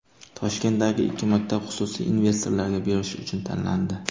Toshkentdagi ikki maktab xususiy investorlarga berish uchun tanlandi.